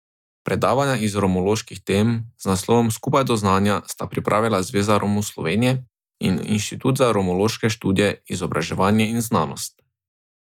Predavanja iz romoloških tem z naslovom Skupaj do znanja sta pripravila Zveza Romov Slovenije in Inštitut za romološke študije, izobraževanje in znanost.